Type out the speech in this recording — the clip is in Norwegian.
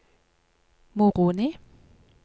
Moroni